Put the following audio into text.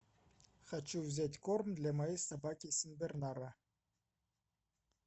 хочу взять корм для моей собаки сенбернара